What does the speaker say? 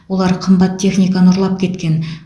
олар қымбат техниканы ұрлап кеткен